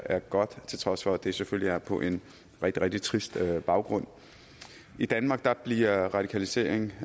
er godt til trods for at det selvfølgelig er på en rigtig rigtig trist baggrund i danmark bliver radikalisering